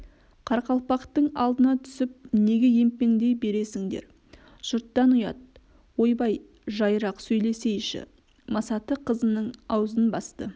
қарақалпақтың алдына түсіп неге емпеңдей бересіңдер жұрттан ұят ойбай жайырақ сөйлесейші масаты қызының аузын басты